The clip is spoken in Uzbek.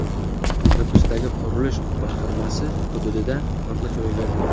Nukusdagi qurilish boshqarmasi hududida portlash ro‘y berdi.